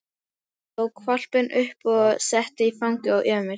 Hún tók hvolpinn upp og setti í fangið á Emil.